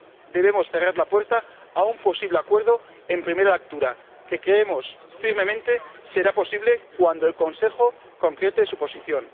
de no cerrar la puerta a un posible acuerdo en primera lectura, que creemos firmemente será posible cuando el Consejo concrete su posición.